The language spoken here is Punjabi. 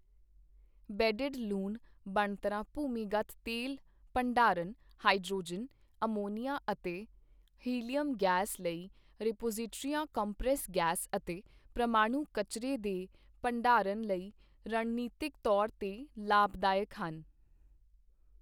ਬੇੱਡਡ ਲੂਣ ਬਣਤਰਾਂ ਭੂਮੀਗਤ ਤੇਲ ਭੰਡਾਰਨ, ਹਾਈਡ੍ਰੋਜਨ, ਅਮੋਨੀਆ ਅਤੇ ਹਿਲਿਅਮ ਗੈਸ ਲਈ ਰਿਪੋਜਿਟਰੀਆਂ, ਕੰਪ੍ਰੈਸ ਗੈਸ ਅਤੇ ਪ੍ਰਮਾਣੂ ਕਚਰੇ ਦੇ ਭੰਡਾਰਨ ਲਈ ਰਣਨੀਤਕ ਤੌਰ ਤੇ ਲਾਭਦਾਇਕ ਹਨ।